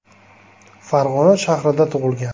Farg‘ona shahrida tug‘ilgan.